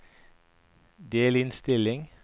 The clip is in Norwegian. delinnstilling